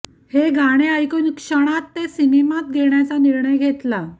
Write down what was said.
हे गाणे ऐकून क्षणात ते सिनेमात घेण्याच निर्णय घेतला